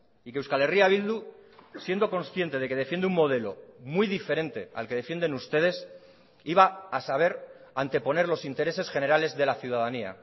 y que euskal herria bildu siendo consciente de que defiende un modelo muy diferente al que defienden ustedes iba a saber anteponer los intereses generales de la ciudadanía